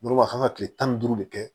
N'o b'a kan kile tan ni duuru de kɛ